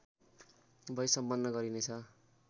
भई सम्पन्न गरिनेछ